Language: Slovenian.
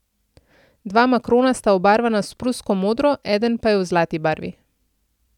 Dva makrona sta obarvana s prusko modro, eden pa je v zlati barvi.